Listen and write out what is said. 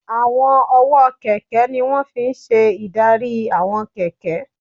Àwọn ọwọ́ kẹ̀kẹ́ ní wọ́n fi n ṣe ìdarí àwọn kẹ̀kẹ́